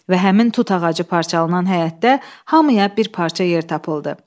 Və həmin tut ağacı parçalanan həyətdə hamıya bir parça yer tapıldı.